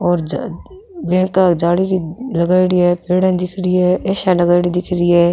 और जे बैंक का जाली लगायेड़ी है पेड़े दिख री है ए.सी. या लगायेडी दिख री है।